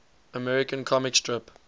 american comic strip